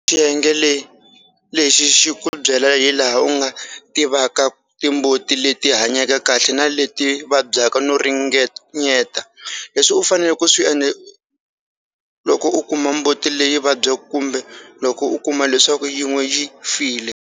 Xiyenge lexi xi ku byela hilaha u nga tivaka timbuti leti hanyeke kahle na leti vabyaka no ringanyeta leswi u faneleke ku swi endla loko u kuma mbuti leyi vabyaka kumbe loko u kuma leswaku yin'we yi file.